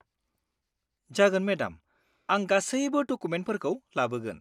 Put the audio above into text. जागोन, मेडाम! आं गासैबो डकुमेन्टफोरखौ लाबोगोन।